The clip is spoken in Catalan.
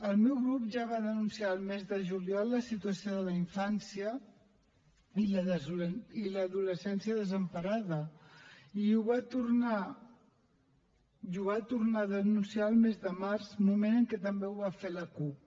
el meu grup ja va denunciar el mes de juliol la situació de la infància i l’adolescència desemparada i ho va tornar a denunciar el mes de març moment en què també ho va fer la cup